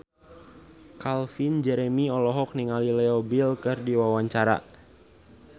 Calvin Jeremy olohok ningali Leo Bill keur diwawancara